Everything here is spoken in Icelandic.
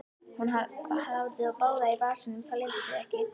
Hún hafði þá báða í vasanum, það leyndi sér ekki.